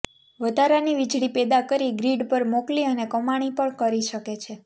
વધારાની વીજળી પેદા કરી ગ્રીડ પર મોકલી અને કમાણી પણ કરી શકે છે